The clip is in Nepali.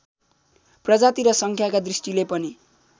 प्रजाति र सङ्ख्याका दृष्टिले पनि